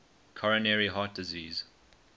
coronary heart disease